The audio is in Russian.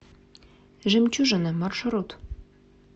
жемчужина маршрут